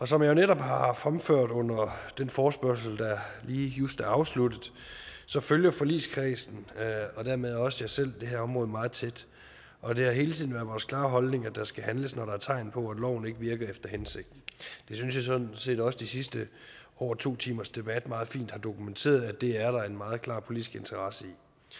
som jeg netop har fremført under den forespørgsel der lige just er afsluttet følger forligskredsen og dermed også jeg selv det her område meget tæt og det har hele tiden været vores klare holdning at der skal handles når der er tegn på at loven ikke virker efter hensigten jeg synes sådan set også at de sidste over to timers debat meget fint har dokumenteret at det er der en meget klar politisk interesse i